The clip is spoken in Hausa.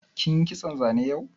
Kin yi kitson zane yau?